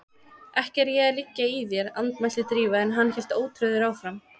Ekki er ég að liggja í þér- andmælti Drífa en hann hélt ótrauður áfram